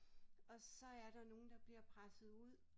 Og så er der nogen der bliver presset ud